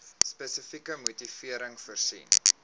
spesifieke motivering voorsien